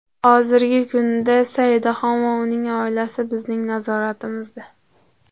Hozirgi kunda Saidaxon va uning oilasi bizning nazoratimizda.